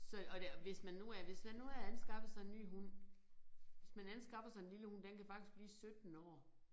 Så og det hvis man nu er hvis man nu er anskaffet sig en ny hund hvis man anskaffer sig en lille hund. Den kan faktisk blive 17 år